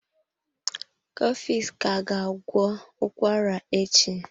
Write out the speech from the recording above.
Cofex ka ga agwọ ụkwara echi.